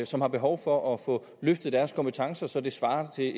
som har behov for at få løftet deres kompetencer så det svarer til